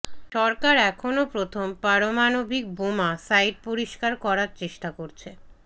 সরকার এখনও প্রথম পারমাণবিক বোমা সাইট পরিষ্কার করার চেষ্টা করছে